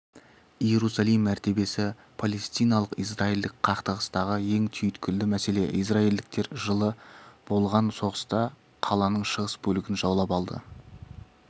иерусалим мәртебесі палестиналық-израилдік қақтығыстағы ең түйткілді мәселе израильдіктер жылы болған соғыста қаланың шығыс бөлігін жаулап алды